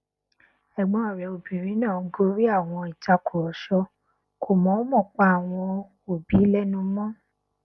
ẹgbọn rẹ obìnrin náà gorí àwọn ìtàkùrọsọ kò mọọmọ pa àwọn òbí lẹnu mọ